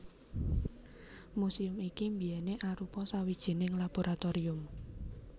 Muséum iki biyèné arupa sawijining laboratorium